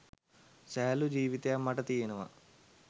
සැහැල්ලු ජීවිතයක් මට තියෙනවා